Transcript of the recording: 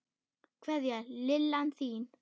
Kveðja, Lillan þín.